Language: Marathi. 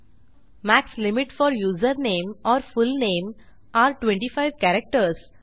max limit four username or full name are 25 characters